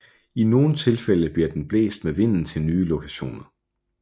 I nogle tilfælde bliver den blæst med vinden til nye lokationer